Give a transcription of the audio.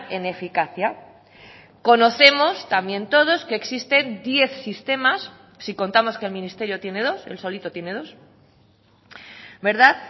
en eficacia conocemos también todos que existen diez sistemas si contamos que el ministerio tiene dos él solito tiene dos verdad